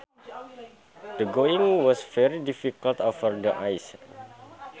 The going was very difficult over the ice